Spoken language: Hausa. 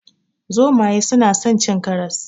Zomaye suna son cin karas.